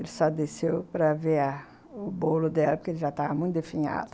Ele só desceu para ver o bolo dela, porque ele já tava muito definhado.